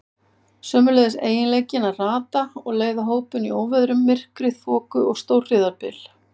Sömuleiðis eiginleikinn að rata og leiða hópinn í óveðrum, myrkri, þoku og stórhríðarbyl.